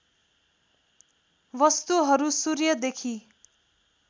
वस्तुहरू सूर्यदेखि